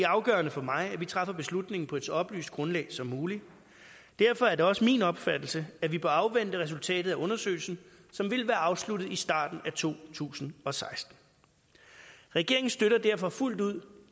afgørende for mig at vi træffer beslutningen på et så oplyst grundlag som muligt derfor er det også min opfattelse at vi bør afvente resultatet af undersøgelsen som vil være afsluttet i starten af to tusind og seksten regeringen støtter derfor fuldt ud